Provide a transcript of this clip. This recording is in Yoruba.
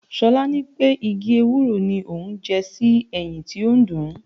Ṣolá ní pé igi Ewúro ni òun jẹ sí eyín tó ń dùn-ún.